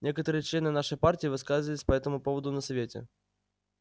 некоторые члены нашей партии высказались по этому поводу на совете